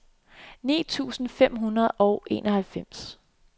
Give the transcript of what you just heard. ni tusind fem hundrede og enoghalvfems